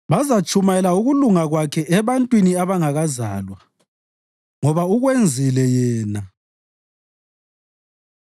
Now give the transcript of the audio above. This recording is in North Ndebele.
Bazatshumayela ukulunga kwakhe, ebantwini abangakazalwa ngoba ukwenzile Yena.